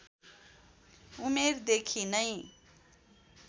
उमेरदेखि नै